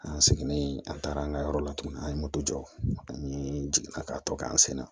An seginnen an taara an ka yɔrɔ la tuguni an ye moto jɔ an ye jiginna ka tɔ k'an sen na